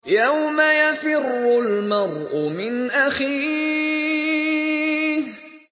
يَوْمَ يَفِرُّ الْمَرْءُ مِنْ أَخِيهِ